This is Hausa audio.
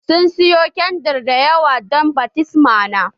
Sun sayo kyandir dayawa dan baftisma na